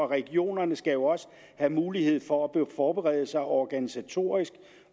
regionerne skal jo også have mulighed for at forberede sig organisatorisk